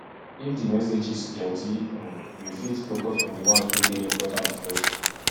if di messages plenty um you fit focus on di ones wey de important first